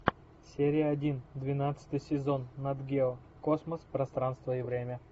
серия один двенадцатый сезон нат гео космос пространство и время